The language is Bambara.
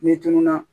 Ni tunun na